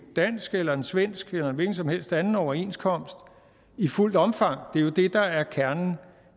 dansk eller en svensk eller en hvilken som helst anden overenskomst i fuldt omfang det er jo det der er kernen